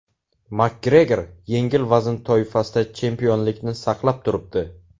Makgregor yengil vazn toifasida chempionlikni saqlab turibdi.